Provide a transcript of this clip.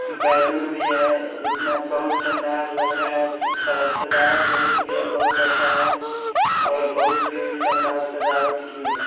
Balloon भी है इसमें बहुत शानदार लग रहा है सजावट बहुत-बहुत अच्छा है और बहुत ही शानदार सजावट किये है।